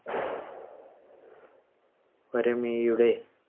വരമിഴിയുടെ